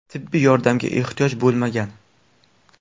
Tibbiy yordamga ehtiyoj bo‘lmagan.